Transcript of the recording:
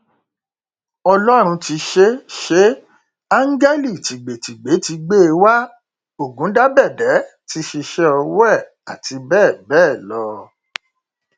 ọlọrun ti ṣeé ṣeé áńgẹlì tìgbètìgbé ti gbé e wá ọgùndàbẹdẹ ti ṣíṣe ọwọ ẹ àti bẹẹ bẹẹ lọ